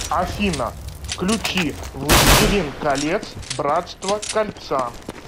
афина включи властелин колец братство кольца